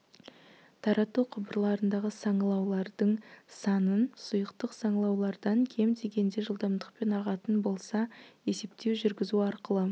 тарату құбырларындағы саңылаулардың санын сұйықтық саңылаулардан кем дегенде жылдамдықпен ағатын болса есептеу жүргізу арқылы